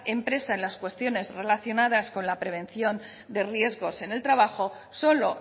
empresa en las cuestiones relacionadas con la prevención de riesgos en el trabajo solo